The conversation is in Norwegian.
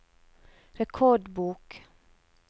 rekordbok